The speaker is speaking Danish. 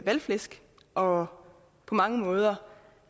valgflæsk og på mange måder